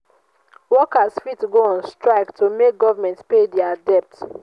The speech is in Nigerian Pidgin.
workers fit go on strike to make government pay their debts